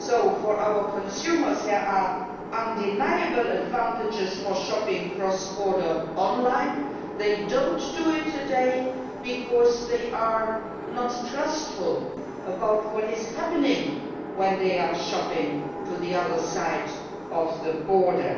For our consumers there are undeniable advantages to shopping cross border online. They do not do it today because they are mistrustful about what is happening when they are shopping on the other side of the border.